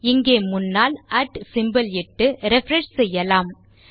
இங்கே முன்னால் சிம்போல் இட்டு ரிஃப்ரெஷ் செய்யலாம்